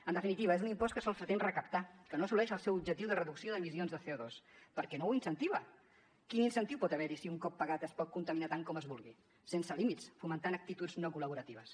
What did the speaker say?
en definitiva és un impost que sols pretén recaptar que no assoleix el seu objectiu de reducció d’emissions de cover hi si un cop pagat es pot contaminar tant com es vulgui sense límits fomentant actituds no col·laboratives